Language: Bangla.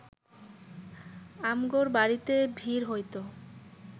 আমগোর বাড়িতে ভিড় হইত,